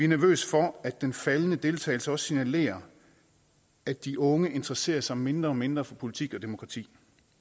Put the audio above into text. nervøse for at den faldende deltagelse også signalerer at de unge interesserer sig mindre og mindre for politik og demokrati